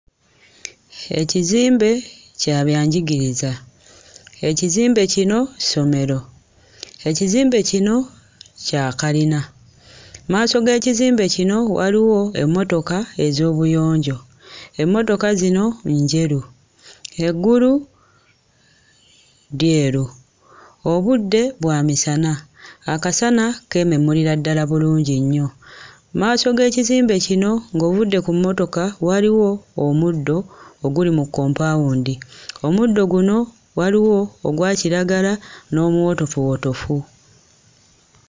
Ekizimbe kya byanjirigiriza, ekizimbe kino ssomero, ekizimbe kino kya kalina, mu maaso g'ekizimbe kino waliwo emmotoka ez'obuyonjo; emmotoka zino njeru. Eggulu lyeru, obudde bwa misana, akasana keememulira ddala bulungi nnyo, mu maaso g'ekizimbe kino ng'ovudde ku mmotoka waliwo omuddo oguli mu kompaawundi; omuddo guno waliwo ogwa kiragala n'omuwotofuwotofu.